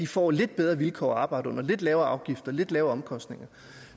får lidt bedre vilkår at arbejde under lidt lavere afgifter lidt lavere omkostninger